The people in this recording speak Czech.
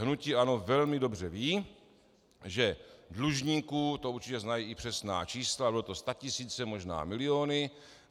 Hnutí ANO velmi dobře ví, že dlužníků, to určitě znají i přesná čísla, byly to statisíce, možná miliony.